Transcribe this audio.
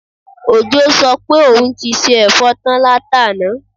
Òjó sọ pé òun ti se ẹ̀fọ́ tán látàná